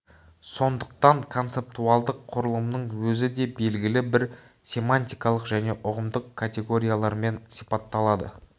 сондықтан концептуалдық құрылымның өзі де белгілі бір семантикалық және ұғымдық категориялармен сипатталады